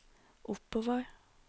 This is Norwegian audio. oppover